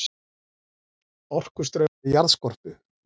Orkustraumar í jarðskorpu